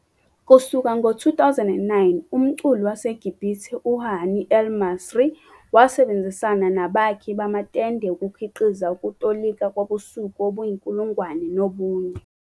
Kusuka ngo-2009, umculi waseGibhithe uHani el-Masri wasebenzisana nabakhi bamatende ukukhiqiza ukutolika kobusuku obuyinkulungwane nobunye.